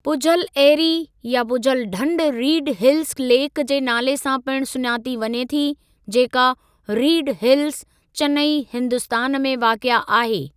पुझल एरी या पुझल ढंढ रीड हिल्स लेक जे नाले सां पिणु सुञाती वञे थी, जेका रीड हिल्स, चेन्नई हिंदुस्तान में वाक़िए आहे।